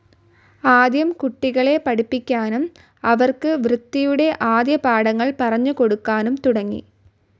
ആദ്യം കുട്ടികളെ പഠിപ്പിക്കാനും അവർക്ക് വൃത്തിയുടെ ആദ്യപാഠങ്ങൾ പറഞ്ഞു കൊടുക്കാനും തുടങ്ങി.